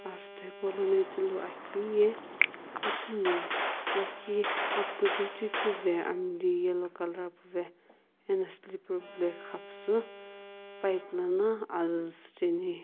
azutho hipou lo no ithulu akeu ye itimi lakhi apkuzu hujui ku amli yellow colour puvae ano slipper black ghapusii pip lono azu shiijaene.